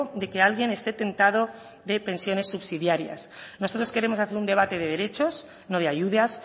de que alguien esté tentado de pensiones subsidiarias nosotros queremos hacer un debate de derechos no de ayudas